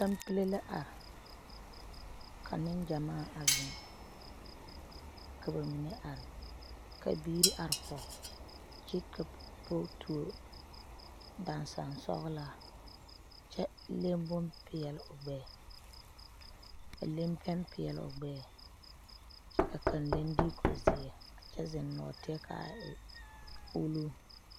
Kampile la are ka neŋgyamaa a zeŋ ka ba mine are ka biire are kɔge kyɛ ka pɔge tuo daŋsan sɔglaa kyɛ leŋ bonpeɛle o gbɛɛ a leŋ pɛn peɛle o gbɛɛ kyɛ ka kaŋ leŋ diiko zeɛ kyɛ zeŋ nɔɔteɛ kaa e ulo.